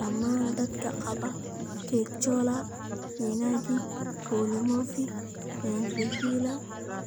Dhammaan dadka qaba catecholaminergic polymorphic ventricular